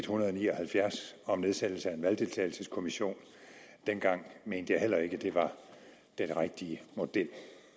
hundrede og ni og halvfjerds om nedsættelse af en valgdeltagelseskommission dengang mente jeg heller ikke at det var den rigtige model